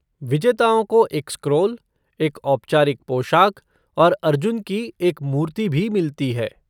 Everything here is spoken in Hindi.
विजेताओं को एक स्क्रॉल, एक औपचारिक पोशाक और अर्जुन की एक मूर्ति भी मिलती है।